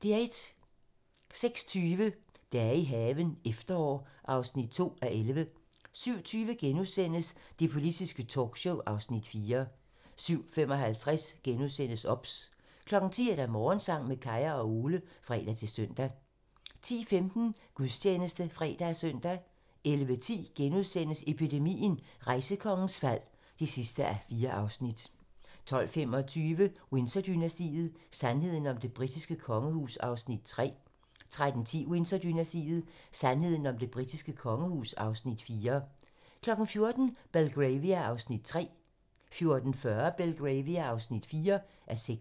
06:20: Dage i haven – efterår (2:11) 07:20: Det politiske talkshow (Afs. 4)* 07:55: OBS * 10:00: Morgensang med Kaya og Ole (fre-søn) 10:15: Gudstjeneste (fre og søn) 11:10: Epidemien - Rejsekongens fald (4:4)* 12:25: Windsor-dynastiet: Sandheden om det britiske kongehus (Afs. 3) 13:10: Windsor-dynastiet: Sandheden om det britiske kongehus (Afs. 4) 14:00: Belgravia (3:6) 14:40: Belgravia (4:6)